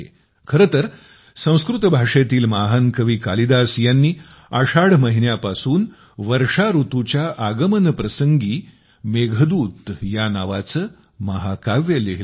खरेतर संस्कृतभाषेतील महान कवी कालिदास यांनी आषाढ महिन्यापासून वर्ष ऋतूच्या आगमन प्रसंगी मेघदूत नावाचे महाकाव्य लिहिले होते